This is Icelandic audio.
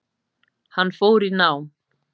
Hann fór í nám.